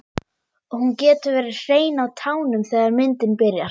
Og hún getur verið hrein á tánum þegar myndin byrjar.